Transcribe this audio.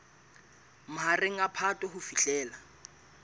mahareng a phato ho fihlela